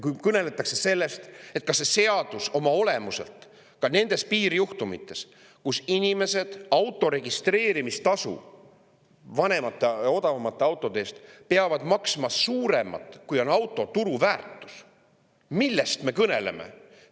Kui me kõneleme ja ka nendest piirjuhtumitest, kus inimesed peavad vanemate ja odavamate autode eest maksma suuremat registreerimistasu, kui on auto turuväärtus, siis millest me kõneleme?